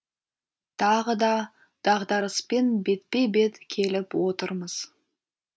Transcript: тағы да дағдарыспен бетпе бет келіп отырмыз